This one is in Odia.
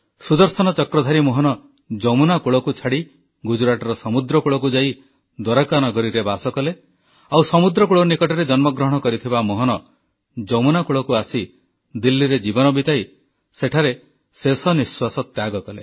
ସୁଦର୍ଶନ ଚକ୍ରଧାରୀ ମୋହନ ଯମୁନା କୁଳକୁ ଛାଡ଼ି ଗୁଜରାଟର ସମୁଦ୍ରକୂଳକୁ ଯାଇ ଦ୍ୱାରକା ନଗରୀରେ ବାସ କଲେ ଆଉ ସମୁଦ୍ରକୂଳ ନିକଟରେ ଜନ୍ମଗ୍ରହଣ କରିଥିବା ମୋହନ ଯମୁନା କୂଳକୁ ଆସି ଦିଲ୍ଲୀରେ ଜୀବନ ବିତାଇ ସେଠାରେ ଶେଷନିଃଶ୍ୱାସ ତ୍ୟାଗ କଲେ